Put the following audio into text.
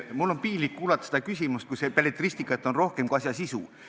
Mul on piinlik kuulata seda küsimust, kus belletristikat on rohkem kui asja sisu.